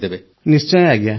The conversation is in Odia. ପ୍ରେମ୍ ଜୀ ନିଶ୍ଚୟ ଆଜ୍ଞା